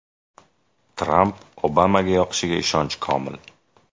Tramp Obamaga yoqishiga ishonchi komil.